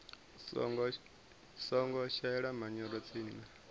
songo shelesa manyoro tsini na